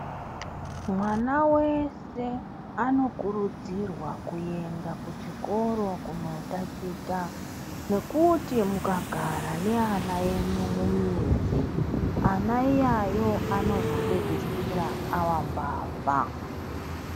Mwana wese anokurudzirwa kuenda kuchikoro kunotaticha. Ngekuti ,mukagara neana enyu mumizi, ana iyayo anozopedzisira ayambavha.